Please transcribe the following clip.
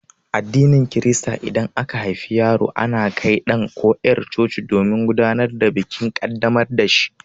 A addinin Kirista idan aka haifi yaro ana kai ɗan ko yar' coci domin gudanar da bikin ƙaddamar da shi.